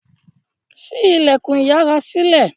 sí ilẹkùn iyàrá sílẹ